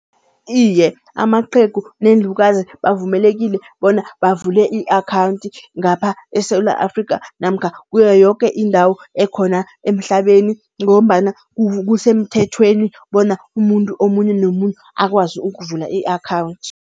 Iye, amaqhegu neenlukazi bavumelekile bona bavule i-akhawunthi ngapha eSewula Afrikha namkha kuyo yoke indawo ekhona emhlabeni. Ngombana kusemthethweni bona umuntu omunye nomuntu akwazi ukuvula i-akhawunthi.